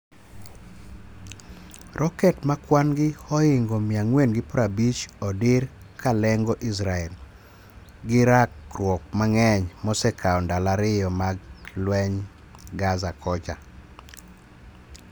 Roket ma kwan gi ohingo 450odir kalengo Israel, gi rakruok mang'eny mosekao ndalo ariyo mag leny Gaza kocha.